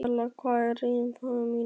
Helena, hvað er á innkaupalistanum mínum?